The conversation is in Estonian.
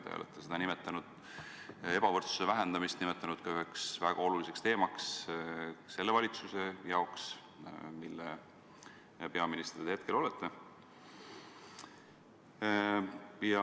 Te olete ebavõrdsuse vähendamist nimetanud üheks väga oluliseks teemaks selle valitsuse jaoks, mille peaminister te praegu olete.